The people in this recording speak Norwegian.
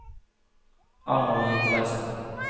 Arnold Nicolaysen